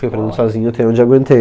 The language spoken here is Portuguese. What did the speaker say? Fui aprendendo sozinho até onde aguentei.